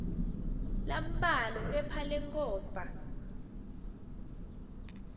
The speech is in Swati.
lambalwa kepha lenkhomba